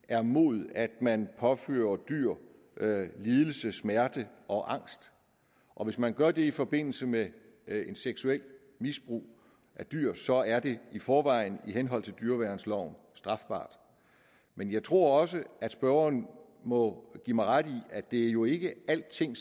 er imod at man påfører dyr lidelse smerte og angst og hvis man gør det i forbindelse med seksuelt misbrug af dyr så er det i forvejen i henhold til dyreværnsloven men jeg tror også at spørgeren må give mig ret i at det jo ikke er alting